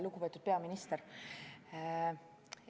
Lugupeetud peaminister!